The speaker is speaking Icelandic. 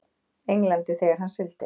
Englandi þegar hann sigldi.